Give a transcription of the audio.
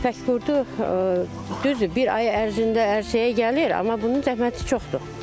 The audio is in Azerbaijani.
Tək qurdu düzdür bir ay ərzində ərsəyə gəlir, amma bunun zəhməti çoxdur.